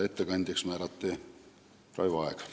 Ettekandjaks määrati Raivo Aeg.